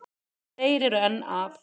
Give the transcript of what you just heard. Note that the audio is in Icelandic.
Þeir eru enn að.